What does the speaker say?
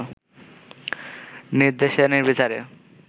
নির্দেশে নির্বিচারে